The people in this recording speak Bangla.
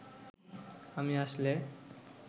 আমি আসলে